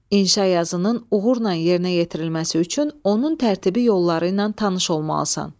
İnşa yazının uğurla yerinə yetirilməsi üçün onun tərtibi yolları ilə tanış olmalısan.